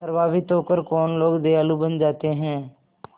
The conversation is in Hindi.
प्रभावित होकर कौन लोग दयालु बन जाते हैं